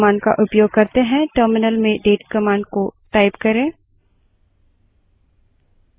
system में दिनांक तथा समय आप जानना चाहोगे इसके लिए date command का उपयोग करते हैं